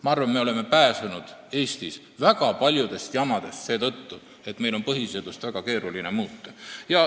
Ma arvan, et me oleme Eestis pääsenud väga paljudest jamadest seetõttu, et meil on põhiseadust väga keeruline muuta.